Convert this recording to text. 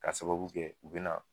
K'a sababu kɛ u be na